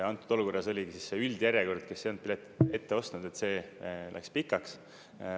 Antud olukorras oli see üldjärjekord, kes ei olnud piletit ette ostnud, see läks pikaks.